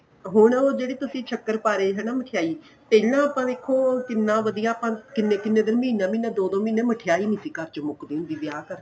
ਹੁਣ ਉਹ ਜਿਹੜੇ ਤੁਸੀਂ ਸ਼ੱਕਰਪਾਰੇ ਹੈਨਾ ਮਿੱਠਾਈ ਤੇ ਜਿਹੜਾ ਉਹ ਆਪਾਂ ਦੇਖੋ ਕਿੰਨਾ ਵਧੀਆ ਕਿੰਨੇ ਕਿੰਨੇ ਦਿਨ ਮਹੀਨਾ ਮਹੀਨਾ ਦੋ ਦੋ ਮਹੀਨੇਂ ਮਿੱਠਾਈ ਨਹੀਂ ਸੀ ਘਰ ਚੋ ਮੁੱਕਦੀ ਹੁੰਦੀ ਵਿਆਹ ਕਰਕੇ